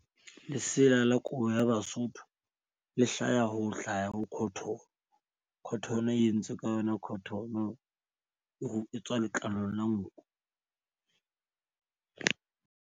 Lesela la kobo ya Basotho le hlaha ho hlaya ho cotton-o. Cotton e entswe ka yona cotton-o. O etswa letlalo la nku.